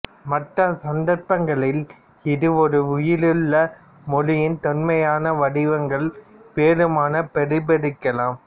மற்ற சந்தர்ப்பங்களில் இது ஒரு உயிருள்ள மொழியின் தொன்மையான வடிவங்களை வெறுமனே பிரதிபலிக்கலாம்